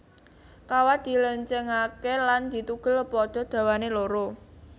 Kawat dilencengake lan ditugel padha dawané loro